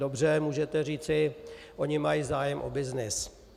Dobře, můžete říci, oni mají zájem o byznys.